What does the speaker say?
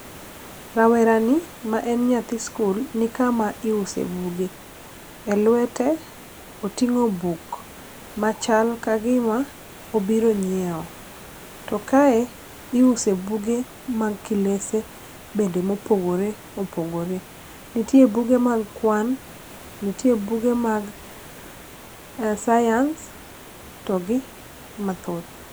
Rawerani ma en nyathi sikul, ni kama iuse buge.E lwete, oting'o buk ma chal ka gima obiro nyiewo. To kae iuse buge mag kilese be maopogoreopogore .Nitie buge mag kwan, nitie buge mag science, to gi mathoth.